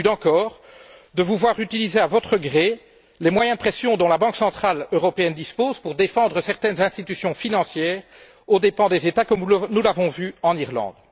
Inquiétude, encore, de vous voir utiliser, à votre gré, les moyens de pression dont la Banque centrale européenne dispose pour défendre certaines institutions financières aux dépens des États, comme nous l'avons vu en Irlande.